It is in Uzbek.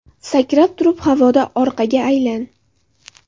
Sakrab turib, havoda orqaga aylan!.